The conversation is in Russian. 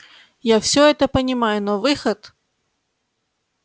я всё это понимаю но выход